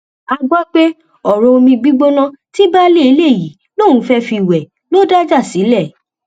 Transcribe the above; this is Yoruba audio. a gbọ pé ọrọ omi gbígbóná ti baálé ilé yìí lòun fẹẹ fi wẹ lọ dájà sílẹ